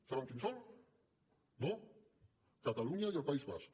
saben quins són no catalunya i el país basc